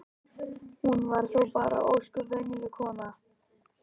Hún var þó bara ósköp venjuleg kona.